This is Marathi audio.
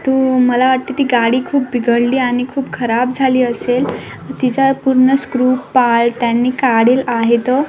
तू मला वाटत ती गाडी खूप बिघडली आणि खूप खराब झाली असेल तिजा पूर्ण स्क्रू पार्ट त्यांनी काढील आहेत तो.